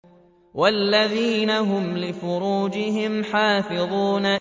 وَالَّذِينَ هُمْ لِفُرُوجِهِمْ حَافِظُونَ